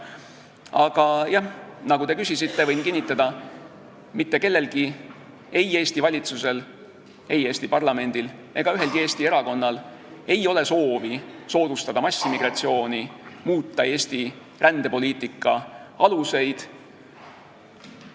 Aga jah, te küsisite ja võin kinnitada: mitte kellelgi, ei Eesti valitsusel, ei Eesti parlamendil ega ühelgi Eesti erakonnal ei ole soovi soodustada massiimmigratsiooni, muuta Eesti rändepoliitika aluseid.